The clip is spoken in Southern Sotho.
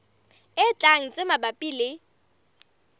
e tlang tse mabapi le